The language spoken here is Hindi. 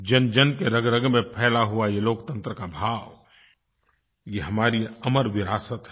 जनजन की रगरग में फैला हुआ ये लोकतंत्र का भाव ये हमारी अमर विरासत है